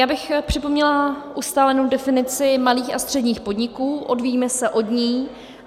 Já bych připomněla ustálenou definici malých a středních podniků, odvíjíme se od ní.